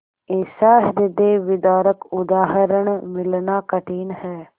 ऐसा हृदयविदारक उदाहरण मिलना कठिन है